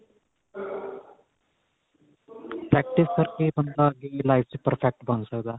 practice ਕਰ ਕੇ ਈ ਬੰਦਾ ਅੱਗੇ ਦੀ life ਚ perfect ਬਣ ਸਕਦਾ